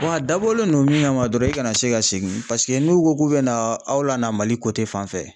a dabɔlen don min kama dɔrɔn i kana se ka segin n'u ko k'u bɛna aw lana Mali fan fɛ